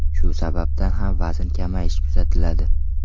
Shu sababdan ham vazn kamayishi kuzatiladi.